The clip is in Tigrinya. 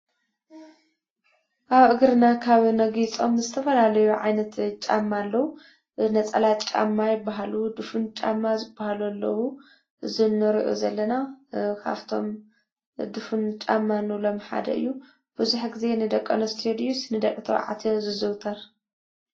አብ እግርና ካብ እነጊፆም ዝተፈላለዩ ዓይነት ጫማ አለው:: ነፀላ ጫማ ይበሃሉ ዱፍን ጫማ ዝበሃሉ አለው ።እዚ እንሪኦ ዘለና ካብቶም ዱፉን ጫማ እንብሎ ሓደ እዩ። መብዛሕትኡ ግዜ ንደቂ አንስትዮ ድዩስ ንደቂ ተባዕትዮ ዝዝውተር?